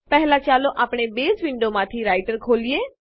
પહેલા ચાલો આપણે બેઝ વિન્ડોમાંથી રાઈટર ખોલીએ